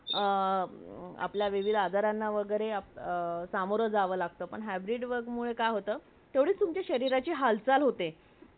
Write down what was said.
i card दाखवतो आणि तिथून निघून जातो नंतर मग त्याच्या आईकडे जातो तर तिथं सगळे खूप मोठे लोक जमलेले असतात अं मग त्याला त्याला वाटत असत आई गेली कि काय पण तो जाऊन बघतो पण त्याची आई जिवंत असते पाणी